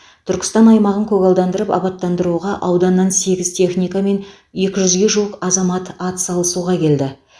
түркістан аймағын көгалдандырып абаттандыруға ауданнан сегіз техника мен екі жүзге жуық азамат атсалысуға келді